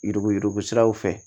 Yuruguyurugu siraw fɛ